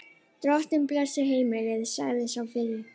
Drottinn blessi heimilið, sagði sá fyrri.